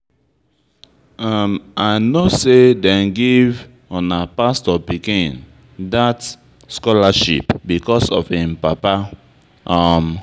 I no say dem give una pastor pikin that scholarship because of im papa um